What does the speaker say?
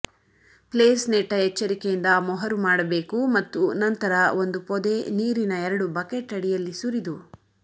place ನೆಟ್ಟ ಎಚ್ಚರಿಕೆಯಿಂದ ಮೊಹರು ಮಾಡಬೇಕು ಮತ್ತು ನಂತರ ಒಂದು ಪೊದೆ ನೀರಿನ ಎರಡು ಬಕೆಟ್ ಅಡಿಯಲ್ಲಿ ಸುರಿದು